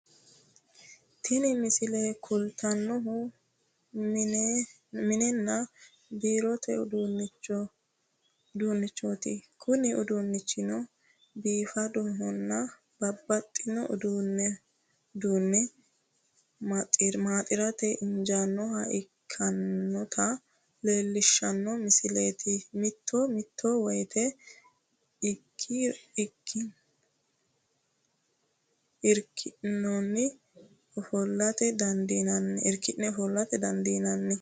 Tini misile kultannohu mininna biirote uduunnichooti kuni uduunnichino bifadonna babbaxino uduunne maaxirate injiinoha ikkinota leellishshanno misileeti mito mito woyte irki'neno ofolla dandiinanni.